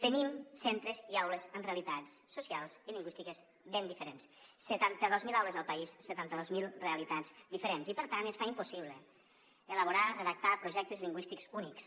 tenim centres i aules amb realitats socials i lingüístiques ben diferents setanta dos mil aules al país setanta dos mil realitats diferents i per tant es fa impossible elaborar redactar projectes lingüístics únics